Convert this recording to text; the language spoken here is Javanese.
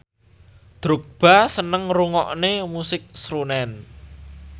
Drogba seneng ngrungokne musik srunen